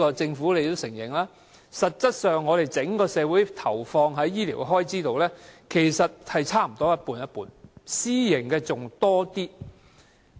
政府也承認，整個社會實際投放在醫療開支上，其實差不多各佔一半，私營的還佔多一點。